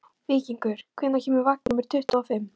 Víkingur, hvenær kemur vagn númer tuttugu og fimm?